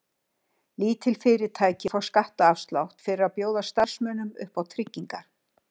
Lítil fyrirtæki fá skattaafslátt fyrir að bjóða starfsmönnum upp á tryggingar.